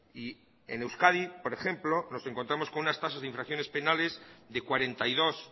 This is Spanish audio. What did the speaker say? y en euskadi por ejemplo nos encontramos con unas tasas de infracciones penales de cuarenta y dos